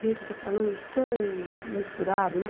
Gente, eu estou falando tão misturado, né?